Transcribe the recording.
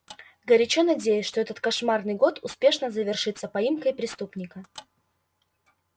горячо надеюсь что этот кошмарный год успешно завершится поимкой преступника